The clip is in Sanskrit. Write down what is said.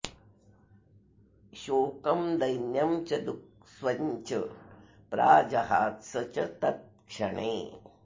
शोकं दैन्यं च दुःस्वं च प्राजहात्स च तत्क्षणे